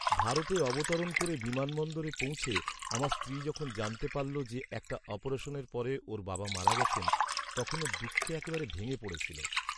ভারতে অবতরণ করে বিমানবন্দরে পৌঁছে আমার স্ত্রী যখন জানতে পারলো যে একটা অপারেশনের পরে ওর বাবা মারা গেছেন, তখন ও দুঃখে একেবারে ভেঙে পড়েছিল।